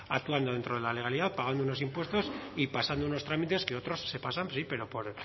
actuando dentro de la legalidad pagando unos impuestos y pasando unos trámites que otros se pasan sí pero por